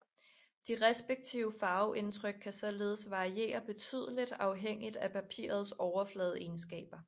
De respektive farveindtryk kan således variere betydeligt afhængigt af papirets overfladeegenskaber